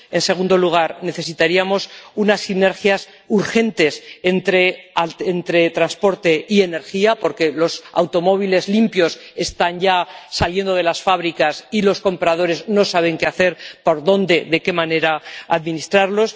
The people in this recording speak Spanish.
En segundo lugar, necesitaríamos unas sinergias urgentes entre transporte y energía, porque los automóviles limpios están ya saliendo de las fábricas y los compradores no saben qué hacer, por dónde y de qué manera administrarlos.